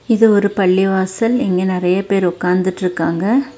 இது ஒரு பள்ளிவாசல் இங்க நெறைய பேர் உக்காந்துட்ருக்காங்க.